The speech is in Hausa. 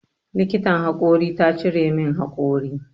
Likitan haƙori ta cire min haƙori.